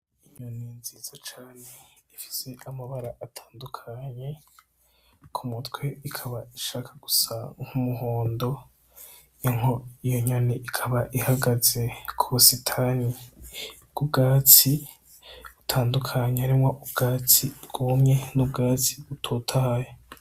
Inyoni nziza cane ifise amabara atandukanye, ku mutwe ikaba ishaka gusa nk'umuhondo. Iyo nyoni ikaba ihagaze ku busitani bw'ubwatsi butandukanye harimwo ubwatsi bwumye n'ubwatsi butotahaye.